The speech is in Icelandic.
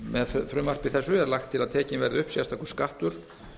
með frumvarpi þessu er lagt til að tekinn verði upp sérstakur skattur